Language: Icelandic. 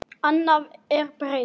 Annað er breytt.